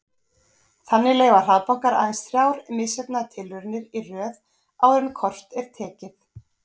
Þannig leyfa hraðbankar aðeins þrjár misheppnaðar tilraunir í röð áður en kort er tekið.